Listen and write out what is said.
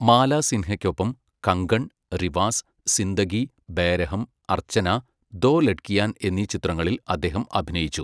മാലാ സിൻഹയ്ക്കൊപ്പം 'കങ്കൺ', 'റിവാസ്', 'സിന്ദഗി', 'ബേരഹം', 'അർച്ചന', 'ദോ ലഡ്കിയാൻ' എന്നീ ചിത്രങ്ങളിൽ അദ്ദേഹം അഭിനയിച്ചു.